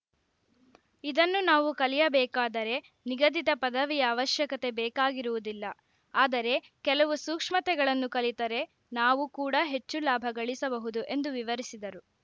ಇದನ್ನು ನಾವು ಕಲಿಯಬೇಕಾದರೆ ನಿಗದಿತ ಪದವಿಯ ಅವಶ್ಯಕತೆ ಬೇಕಾಗಿರುವುದಿಲ್ಲ ಆದರೆ ಕೆಲವು ಸೂಕ್ಷ್ಮತೆಗಳನ್ನು ಕಲಿತರೆ ನಾವು ಕೂಡ ಹೆಚ್ಚು ಲಾಭ ಗಳಿಸಬಹುದು ಎಂದು ವಿವರಿಸಿದರು